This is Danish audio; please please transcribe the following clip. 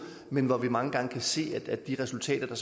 men hvor vi mange gange kan se at de resultater